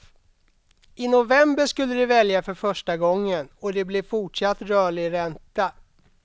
I november skulle de välja för första gången, och det blev fortsatt rörlig ränta.